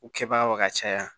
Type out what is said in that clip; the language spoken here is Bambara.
U kɛbagaw ka caya